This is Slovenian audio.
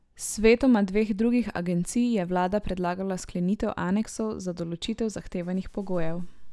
Svetoma dveh drugih agencij je vlada predlagala sklenitev aneksov za določitev zahtevanih pogojev.